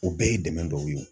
O bɛɛ ye dɛmɛ dɔw ye.